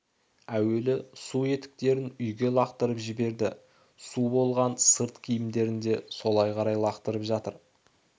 әуелі су етіктерін үйге лақтырып жіберді су болған сырт киімдерінде солай қарай лақтырып жатыр